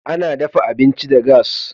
Ana daffa abinci da gas.